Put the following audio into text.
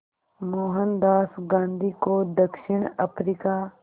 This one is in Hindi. मोहनदास गांधी को दक्षिण अफ्रीका